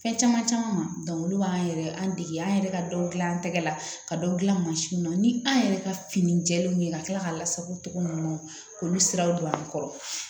Fɛn caman caman ma olu b'an yɛrɛ an dege an yɛrɛ ka dɔ dilan an tɛgɛ la ka dɔ gilan mansin kɔnɔ ni an yɛrɛ ka fini jɛlenw ye ka kila k'a lasago cogo ninnu k'olu siraw don an kɔrɔ